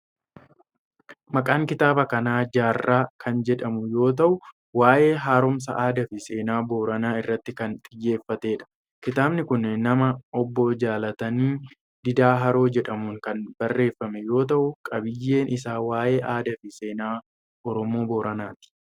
Maqaan kitaaba kanaa jaarraa kan jedhamu yoo ta'u, waa'ee haaromsa aadaa fi seenaa booranaa irratti kan xiyyeeffatee dha. Kitaabni kun nama Obbo Jaalatanii Diidaa Haroo jedhamuun kan barreeffame yoo ta'u, qabiiyyeen isaa waa'ee aadaa fi seenaa Oromoo Booranaati.